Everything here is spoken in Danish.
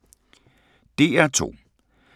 DR2